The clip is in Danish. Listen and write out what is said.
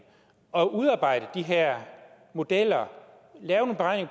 at udarbejde de her modeller